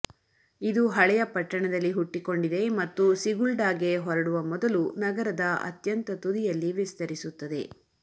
ಇದು ಹಳೆಯ ಪಟ್ಟಣದಲ್ಲಿ ಹುಟ್ಟಿಕೊಂಡಿದೆ ಮತ್ತು ಸಿಗುಲ್ಡಾಗೆ ಹೊರಡುವ ಮೊದಲು ನಗರದ ಅತ್ಯಂತ ತುದಿಯಲ್ಲಿ ವಿಸ್ತರಿಸುತ್ತದೆ